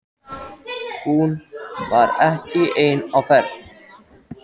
Hún var ekki ein á ferð.